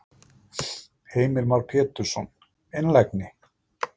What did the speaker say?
Heimir Már Pétursson: Einlægni?